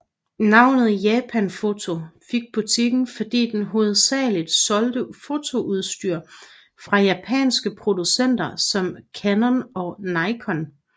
Navnet Japan Photo fik butikken fordi den hovedsageligt solgte fotoudstyr fra japanske producenter som Canon og Nikon